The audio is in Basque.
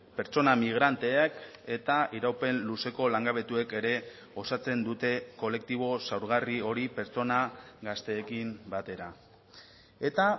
pertsona migranteak eta iraupen luzeko langabetuek ere osatzen dute kolektibo zaurgarri hori pertsona gazteekin batera eta